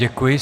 Děkuji.